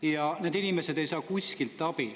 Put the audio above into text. Ja need inimesed ei saa kuskilt abi.